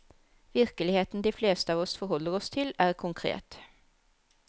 Virkeligheten de fleste av oss forholder oss til, er konkret.